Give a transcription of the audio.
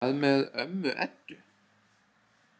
Hvað með ömmu Eddu?